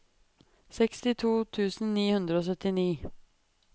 sekstito tusen ni hundre og syttini